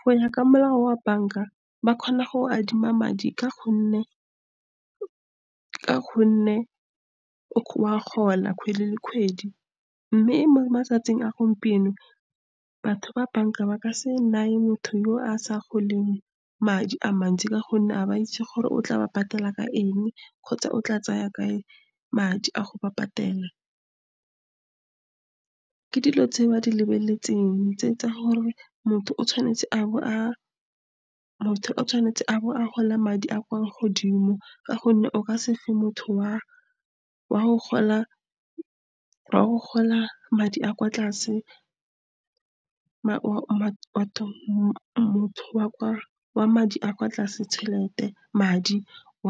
Go ya ka molao wa banka, ba kgona go go adima madi ka gonne wa gola kgwedi le kgwedi. Mme mo matsatsing a gompieno, batho ba banka ba ka se neye motho yo a sa goleng madi a mantsi, ka gonne ga ba itse gore o tla ba patela ka eng, kgotsa o tla tsaya kae madi a go ba patela. Ke dilo tse ba di lebeletseng tse tsa gore motho o tshwanetse a bo a gola madi a a kwa godimo, ka gonne o ka se fe motho wa go gola madi a a kwa tlase wa